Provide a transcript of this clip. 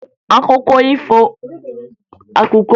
Akụkọ mbe na ọdụm bụ akụkọ ifo